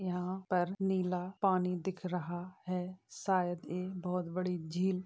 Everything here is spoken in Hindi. यहां पर नीला पानी दिख रहा है शायद ये बहुत बड़ी झील --